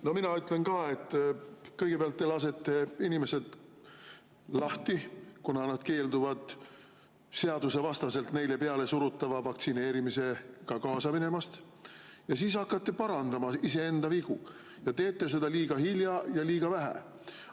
No mina ütlen ka, et kõigepealt te lasete inimesed lahti, kuna nad keelduvad seadusvastaselt neile pealesurutava vaktsineerimisega kaasa minemast, ja siis hakkate parandama iseenda vigu, aga teete seda liiga hilja ja liiga vähe.